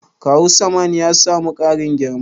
Kawu Sam'an ya samu ƙarin girma?